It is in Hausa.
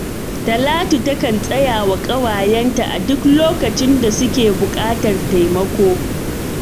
Talatu takan tsaya wa ƙawayenta a duk lokacin da suke buƙatar taimako.